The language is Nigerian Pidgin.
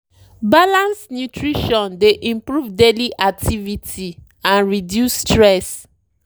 balanced nutrition dey improve daily activity and reduce stress.